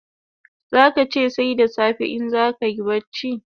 Zaka che sai da safe in zakayi bacci